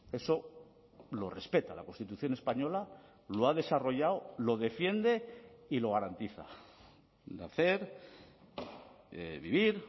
eso lo respeta la constitución española lo ha desarrollado lo defiende y lo garantiza de hacer vivir